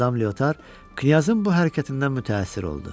Madam Leotar Knyazın bu hərəkətindən mütəəssir oldu.